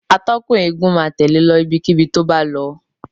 Atọ́kùn eégún máa tẹ̀lẹ́ e lọ ibikíbi tó bá lọ.